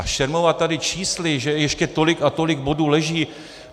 A šermovat tady čísly, že ještě tolik a tolik bodů leží...